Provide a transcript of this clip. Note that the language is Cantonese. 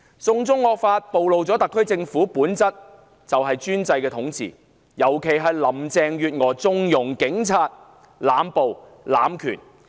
"送中惡法"暴露了特區政府的本質——專制統治，尤其是林鄭月娥縱容警員濫暴、濫權。